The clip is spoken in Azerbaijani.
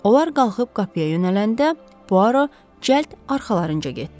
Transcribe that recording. Onlar qalxıb qapıya yönələndə Poaro cəld arxalarınca getdi.